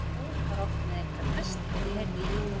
Dór var oft með einhverja pest þegar ég heyrði í henni.